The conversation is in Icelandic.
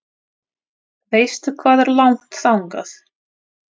Veistu hvað er langt þangað?